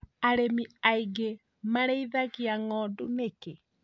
Arĩmi aingĩ marĩithagia ng'ondu nĩkĩĩ